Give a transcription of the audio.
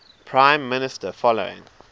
prime minister following